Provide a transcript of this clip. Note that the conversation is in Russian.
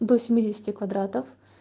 до семидесяти квадратов